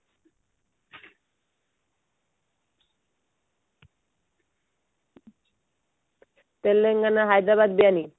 Telangana Hyderabad biryani